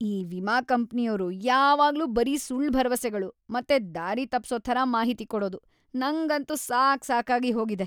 ಈ ವಿಮಾ ಕಂಪ್ನಿಯೋರು ಯಾವಾಗ್ಲೂ ‌ಬರೀ ಸುಳ್ಳ್ ಭರವಸೆಗಳು ಮತ್ತೆ ದಾರಿತಪ್ಸೋ ಥರ ಮಾಹಿತಿ‌ ಕೊಡೋದು.. ನಂಗಂತೂ ಸಾಕ್ ಸಾಕಾಗಿ ಹೋಗಿದೆ.